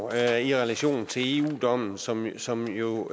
er i relation til eu dommen som som jo